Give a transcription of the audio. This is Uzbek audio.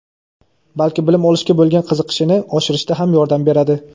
balki bilim olishga bo‘lgan qiziqishini oshirishda ham yordam beradi.